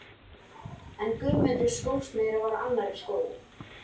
En Guðmundur skósmiður var á annarri skoðun.